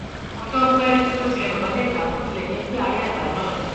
ọjọ pẹ tó ti rẹ bàbá légbàbọ tilẹ jẹ pé àárẹ àgbà ni